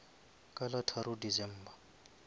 ka la tharo december